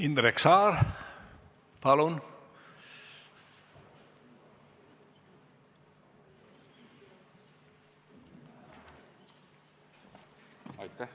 Indrek Saar, palun!